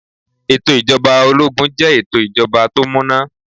Ètò ijoba ológun jẹ́ ètò ìjọba tó múná.